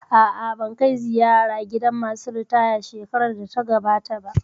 A'a, ban kai ziyara gidan masu ritaya shekarar da ta gabata ba